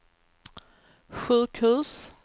sjukhus